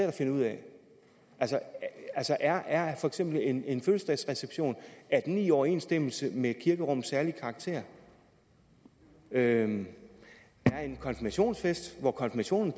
at finde ud af altså er er for eksempel en en fødselsdagsreception i i overensstemmelse med kirkerummets særlige karakter er en konfirmationsfest hvor konfirmationen